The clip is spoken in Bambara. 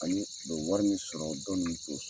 Ani o bɛ wari min sɔrɔ dɔ ninnu t'o sɔrɔ.